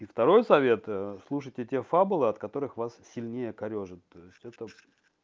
и второй совет слушать эти фабулы от которых вас сильнее корёжит что та